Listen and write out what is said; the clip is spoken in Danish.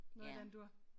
Noget i den dur